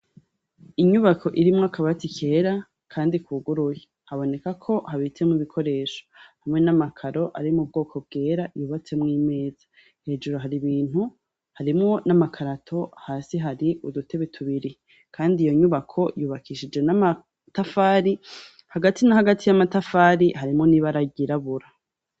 Inyubako irimwo akabati kera kandi kuguruye haboneka ko habitsemwo ibikoresho hamwe n' amakaro ari mu bwoko bwera yubatsemwo imeza hejuru hari ibintu harimwo n' amakarato hasi hari udutebe tubiri kandi iyo nyubako yubakishije n' amatafari hagati na hagati y' amatafari harimwo n' ibara ryirabura.